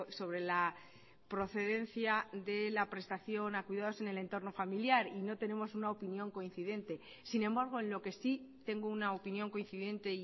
sobre la procedencia de la prestación a cuidados en el entorno familiar y no tenemos una opinión coincidente sin embargo en lo que sí tengo una opinión coincidente